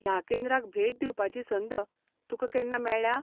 ह्या केंद्राक भेट दिवपाची संद तुकां केन्ना मेळ्ळ्या?